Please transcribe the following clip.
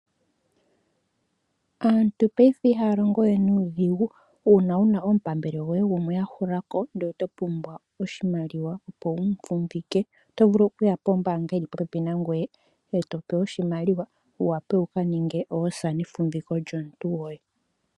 Aantu ngaashingeyi ihaya longo we nuudhigu uuna wuna omupambele goye gumwe ahula ko ndele oto pumbwa oshimaliwa opo wu mufumbike oto vulu okuya pombaanga yili popepi nangoye eto pewa oshimaliwa wu vule oku kaninga oosa nefumbiko lyomuntu goye.